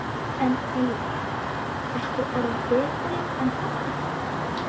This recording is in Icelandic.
En Eiður, ertu orðinn betri en pabbi þinn?